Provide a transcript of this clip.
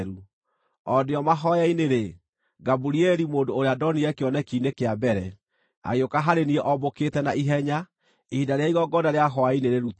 o ndĩ o mahooya-inĩ-rĩ, Gaburieli, mũndũ ũrĩa ndonire kĩoneki-inĩ kĩa mbere, agĩũka harĩ niĩ ombũkĩte na ihenya ihinda rĩrĩa igongona rĩa hwaĩ-inĩ rĩrutagwo.